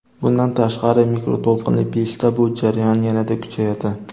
Bundan tashqari mikroto‘lqinli pechda bu jarayon yanada kuchayadi.